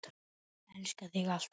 Ég elska þig. alltaf.